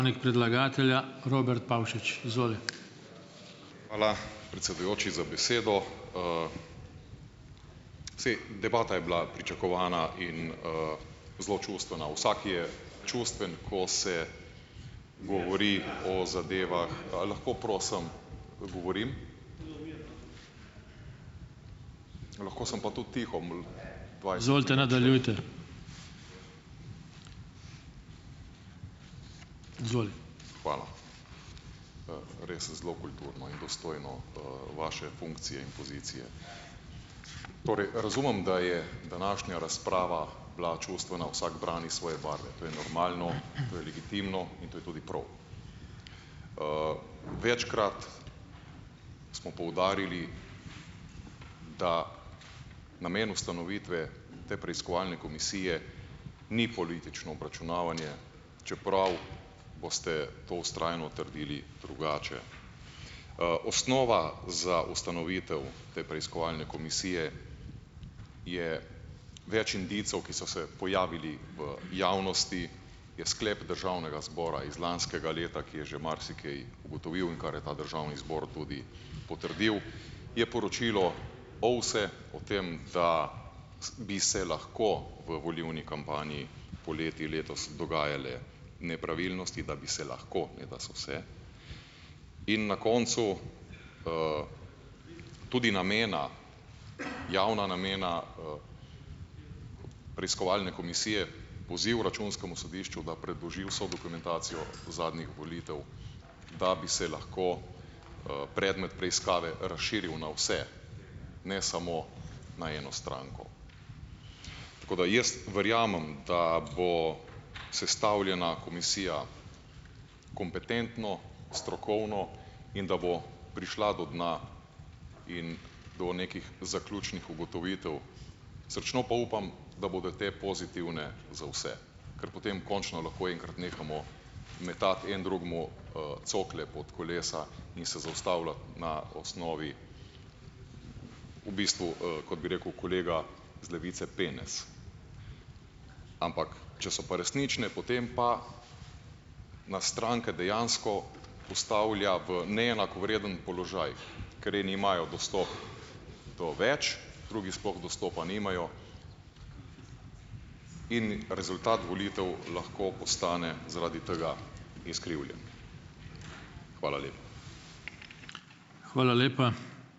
Hvala, predsedujoči, za besedo, Saj debata je bila pričakovana in, zelo čustvena. Vsak je čustven, ko se govori o zadevah. A lahko prosim govorim? Lahko sem pa tudi tiho. Hvala. Res zelo kulturno in dostojno, vaše funkcije in pozicije. Torej razumem, da je današnja razprava bila čustvena. Vsak brani svoje barve. To je normalno, to je legitimno in to je tudi prav. Večkrat smo poudarili, da namen ustanovitve te preiskovalne komisije ni politično obračunavanje, čeprav boste to vztrajno trdili drugače. Osnova za ustanovitev te preiskovalne komisije je več indicev, ki so se pojavili v javnosti, je sklep državnega zbora iz lanskega leta, ki je že marsikaj ugotovil, in kar je ta državni zbor tudi potrdil, je poročilo OVSE o tem, da, bi se lahko v volilni kampanji poleti letos dogajale nepravilnosti. Da bi se lahko, ne da so se. In na koncu, tudi namena, javna namena, preiskovalne komisije, poziv Računskemu sodišču, da predloži vso dokumentacijo zadnjih volitev, da bi se lahko, predmet preiskave razširil na vse, ne samo na eno stranko. Tako da jaz verjamem, da bo sestavljena komisija kompetentno, strokovno in da bo prišla do dna in do nekih zaključnih ugotovitev. Srčno pa upam, da bo te pozitivne za vse, kar potem končno lahko enkrat nehamo metati en drugemu, cokle pod kolesa in se zaustavljati na osnovi v bistvu, kot bi rekel kolega z Levice, penez. Ampak če so pa resnične, potem pa nas stranke dejansko postavlja v neenakovreden položaj, ker eni imajo dostop do več, drugi sploh dostopa nimajo in rezultat volitev lahko postane zaradi tega izkrivljen. Hvala ...